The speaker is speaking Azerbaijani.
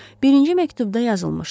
Birinci məktubda yazılmışdı: